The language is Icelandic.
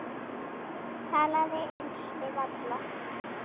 Talaði eins við alla.